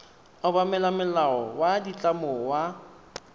obamela molao wa ditlamo wa